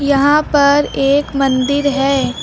यहां पर एक मंदिर है।